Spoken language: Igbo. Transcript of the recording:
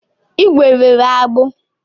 ígwè nwere agbụ.